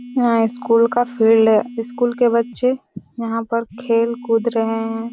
यहाँ स्कूल का फील्ड हैं स्कूल के बच्चे यहाँ पर खेल-कूद रहे हैं।